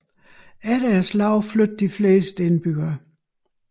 Efter slaget flyttede de fleste indbyggerne